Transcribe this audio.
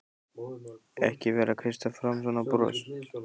Ekki vera að kreista fram svona bros!